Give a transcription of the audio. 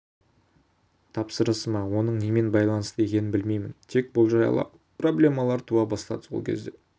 тапсырысы ма оның немен байланысты екенін білмеймін тек болжай аламын проблемалар туа бастады сол кезде